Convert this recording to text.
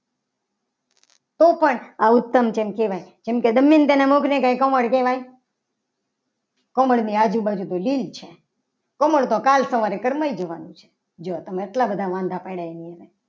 તો પણ આ ઉત્તમ ચમ કહેવાય. કેમ કે દમિયનતાના મુખની કંઈ કમળ કહેવાય. કમળની આજુબાજુ તો લીલ છે. કમળ તો કાલ સવારે કરમાઈ જવાનું છે. જો તમે એટલા બધા વાંઢા પડ્યા આની અંદર